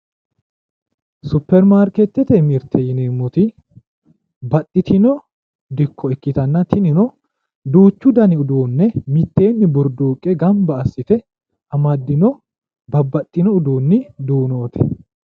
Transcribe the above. Supirimaarkeetete mirte yineemmoti baxxitino dikko ikitanna, tinino duuchu dani uduunne mitteenni burduuqqe gamba assite amaddino babbaxxino uduunni duunooti,